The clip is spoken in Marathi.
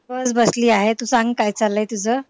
बस बसली आहे तू सांग काय चाललंय तुझं